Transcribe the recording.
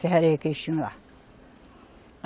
Serralharia que eles tinham lá.